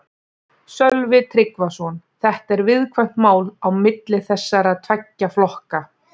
Sölvi Tryggvason: Þetta er viðkvæmt mál á milli þessara tveggja flokka?